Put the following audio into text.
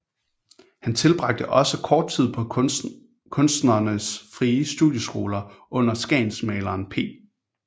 Han tilbragte også kort tid på Kunstnernes Frie Studieskoler under skagensmaleren P